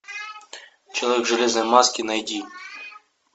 человек в железной маске найди